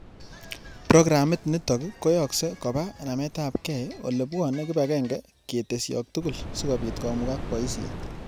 Programit niitok koyaakse kobub nametapkei ole bwoni kibagenge ketesyok tugul sigobiit komugak paisyet.